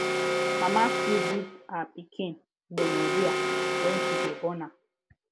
mama fit give her pikin gonorrhea when she de born am